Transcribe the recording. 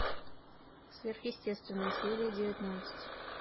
сверхъестественное серия девятнадцать